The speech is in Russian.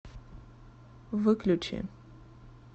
выключи